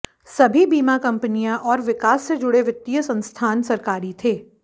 सभी बीमा कंपनियां और विकास से जुड़े वित्तीय संस्थान सरकारी थे